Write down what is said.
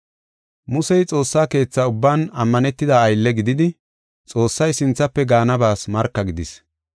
Musey Xoossaa Keetha ubban ammanetida aylle gididi, Xoossay sinthafe gaanabas marka gidis.